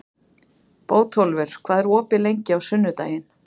Bótólfur, hvað er opið lengi á sunnudaginn?